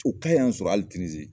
O ka y'an sɔrɔ ali tinizi